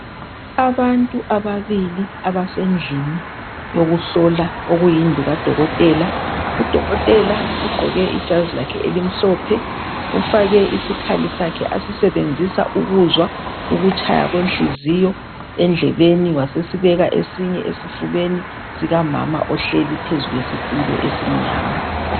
Abantu ababili abasendlini yokuhlola, okuyindlu kadokotela. Udokotela ugqoke ijazi lakhe elimhlophe ufake isikhali sakhe asisebenzisa ukuzwa ukutshaya kwenhliziyo endleleni wasesibeka esinye esifubeni sikamama ohleli phezu kwesitulo esimnyama.